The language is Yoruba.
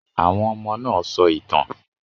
Àwọn ọmọ náà sọ ìtàn.